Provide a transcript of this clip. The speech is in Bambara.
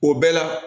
O bɛɛ la